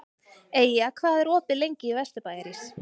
Eyja, hvað er opið lengi í Vesturbæjarís?